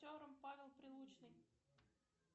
актер павел прилучный